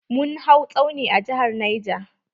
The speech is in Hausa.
Mun hau tsauni a jihar neja.